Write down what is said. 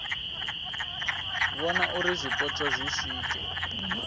vhona uri zwipotso zwi swike